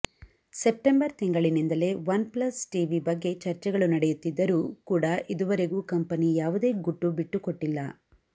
September ತಿಂಗಳಿನಿಂದಲೇ OnePlus TV ಬಗ್ಗೆ ಚರ್ಚೆಗಳು ನಡೆಯುತ್ತಿದ್ದರೂ ಕೂಡ ಇದುವರೆಗೂ ಕಂಪೆನಿ ಯಾವುದೇ ಗುಟ್ಟು ಬಿಟ್ಟುಕೊಟ್ಟಿಲ್ಲ